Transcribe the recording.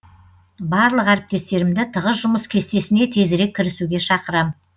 барлық әріптестерімді тығыз жұмыс кестесіне тезірек кірісуге шақырам